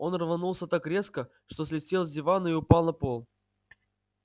он рванулся так резко что слетел с дивана и упал на пол